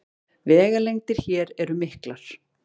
Vegalengdir hér eru miklar